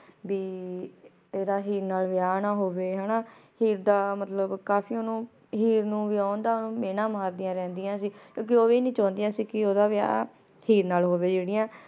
ਭੀ ਏਡ ਹੀਰ ਨਾਲ ਵਿਯਾਹ ਨਾ ਹੋਵੇ ਹਾਨਾ ਹੀਰ ਦਾ ਮਤਲਬ ਕਾਫੀ ਓਨੁ ਹੀਰ ਨੂ ਵਿਯਨ ਦਾ ਓਨੁ ਮੀਨਾ ਮਾਰ੍ਦਿਯਾਂ ਰੇਹ੍ਨ੍ਦਿਯਾਂ ਸੀ ਕ੍ਯੂ ਕੇ ਊ ਵੀ ਨਾਈ ਚੌਨ੍ਦਿਯਾ ਸੀ ਕੇ ਓਦਾ ਵਿਯਾਹ ਹੀਰ ਨਾਲ ਹੋਵੇ ਜੇਰਿਯਾਂ